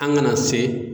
An kana se